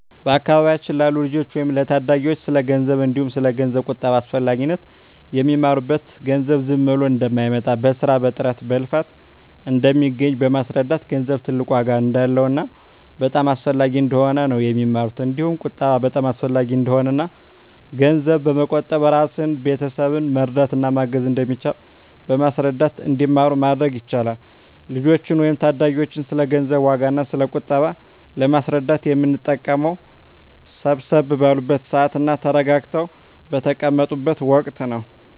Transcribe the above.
በአካባቢያችን ላሉ ልጆች ወይም ለታዳጊዎች ስለ ገንዘብ እንዲሁም ስለ ገንዘብ ቁጠባ አስፈላጊነት የሚማሩት ገንዘብ ዝም ብሎ እንደማይመጣ በስራ በጥረት በልፋት እንደሚገኝ በማስረዳት ገንዘብ ትልቅ ዋጋ እንዳለውና በጣም አስፈላጊ እንደሆነ ነው የሚማሩት እንዲሁም ቁጠባ በጣም አሰፈላጊ እንደሆነና እና ገንዘብ በመቆጠብ እራስንና ቤተሰብን መርዳት እና ማገዝ እንደሚቻል በማስረዳት እንዲማሩ ማድረግ ይቻላል። ልጆችን ወይም ታዳጊዎችን ስለ ገንዘብ ዋጋ እና ስለ ቁጠባ ለማስረዳት የምንጠቀመው ሰብሰብ ባሉበት ስዓት እና ተረጋግተው በተቀመጡት ወቀት ነው።